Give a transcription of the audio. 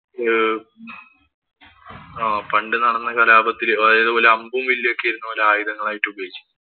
പണ്ട് നടന്ന കലാപത്തില് ഇവര് അമ്പും, വില്ലുമൊക്കെ ആയിരുന്നു ഇവര് ആയുധങ്ങളായി ഉപയോഗിച്ചിരുന്നത്.